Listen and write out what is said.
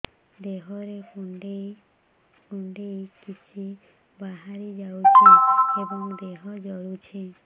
ଦେହରେ କୁଣ୍ଡେଇ କୁଣ୍ଡେଇ କିଛି ବାହାରି ଯାଉଛି ଏବଂ ଦେହ ଜଳୁଛି